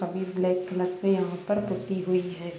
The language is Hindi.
अभी ब्लैक कलर से यहाँ पर पुती हुई है ।